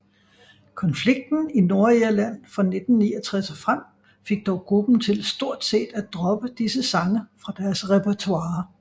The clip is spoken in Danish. Konflikten i Nordirland fra 1969 og frem fik dog gruppen til stort set at droppe disse sange fra deres repertoire